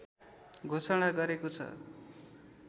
घोषणा गरेको छ